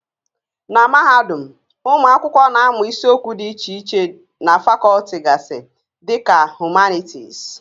Na mahadum, ụmụ akwụkwọ na-amụ isiokwu dị iche iche na fakọlti gasị dị ka Humanities